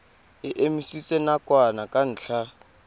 e emisitswe nakwana ka ntlha